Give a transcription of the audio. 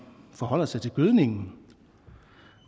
forholder sig til gødningen